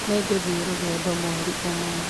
Nĩ ngũthiĩ rũgendo mweri ũmwe